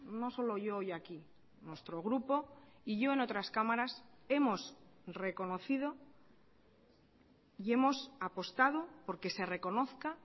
no solo yo hoy aquí nuestro grupo y yo en otras cámaras hemos reconocido y hemos apostado porque se reconozca